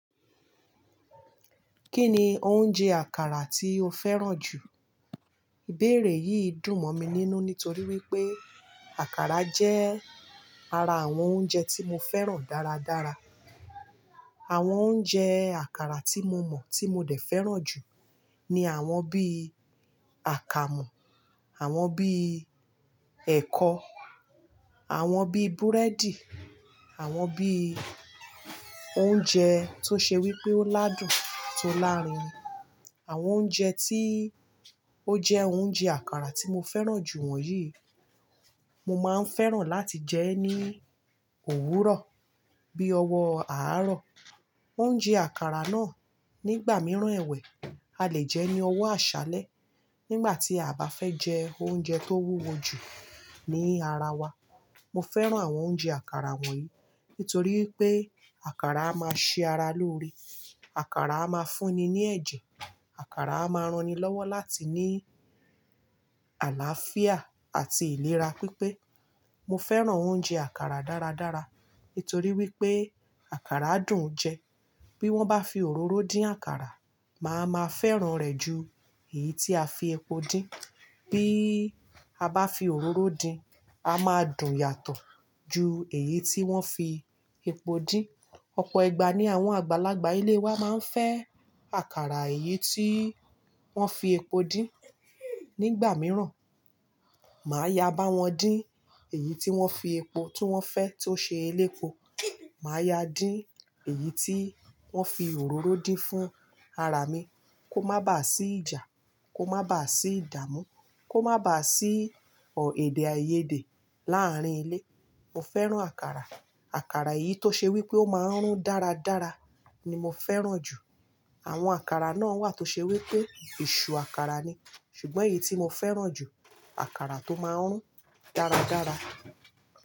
Kí ni oúnjẹ àkàrà tí o fẹ́ràn jù? Ìbéèrè yìí dùn mọ̀ mi nínú nítorí wípé àkàrà jẹ́ ara àwọn oúnjẹ tí mo fẹ́ràn dáradára. Àwọn oúnjẹ àkàrà tí mo mọ̀ tí mo dẹ̀ fẹ́ràn jù ni àwọn bíi àkàmù, àwọn bíii ẹ̀kọ, àwọn bíi búrẹ́dì, àwọn bíi oúnjẹ tó ṣe wípé ó ládùn tó láàrinrin. Àwọn oúnjẹ tí ó jẹ́ oúnjẹ àkàrà tí mo fẹ́ràn jù wọ̀nyí, mo máa ń fẹ́ràn láti jẹ ẹ́ ní òwúrọ̀ bí ọwọ́ àárọ̀. Oúnjẹ àkàrà náà nígbà mìíràn ẹ̀wẹ̀, a lè jẹ ẹ́ ní ọwọ́ àṣálẹ́ nígbà tí a bá fẹ́ jẹ oúnjẹ tó wúwo jù ní ara wa. Mo fẹ́ràn àwọn oúnjẹ àkàrà wọ̀nyí nítorí wípé àkàrà a máa ṣe ara lóore, àkàrà a máa fún ni ní ẹ̀jẹ̀, àkàrà a máa ran ni lọ́wọ́ láti ní àlááfíà àti ìlera pípé. Mo fẹ́ràn oúnjẹ àkàrà dáradára nítorí wípé àkàrà dùn jẹ. Bí wọ́n bá fi òróró dín àkàrà, màá ma fẹ́ràn rẹ̀ ju èyí tí a fi epo dín. Bí a bá fi òróró dín, a máa dùn yàtọ̀ ju èyí tí wọ́n fi epo dín. Ọ̀pọ̀ ìgbà ni àwọn àgbàlagbà ilé wa máa ń fẹ́ àkàrà èyí tí wọ́n fi epo dín. Nígbà mìíràn, màá ya bá wọn dín èyí tí wọ́n fi epo tí wọ́n fẹ́ tó ṣe elépo. Màá ya dín èyí tí wọ́n fi òróró dín fún ara mi kó má bàá sí ìjà, kó má bàá sí ìdààmú, kó má bàá sí èdè àìyédè láàárín ilé. Mo fẹ́ràn àkàrà. Àkàrà yìí tó ṣe wípé ó máa ń rún dáradára ni mo fẹ́ràn jù. Àwọn àkàrà náà wà tó ṣe wípé èṣù àkàrà ni. Ṣùgbọ́n èyí tí mo fẹ́ràn jù, àkàrà tó máa ń rún dáradára.